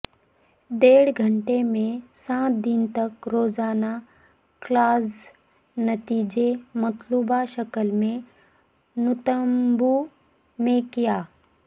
ڈیڑھ گھنٹے میں سات دن تک روزانہ کلاسز نتیجے مطلوبہ شکل میں نتمبوں میں کیا